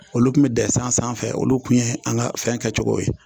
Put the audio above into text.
Olu tun bɛ den san sanfɛ olu tun ye an ka fɛn kɛ cogo ye.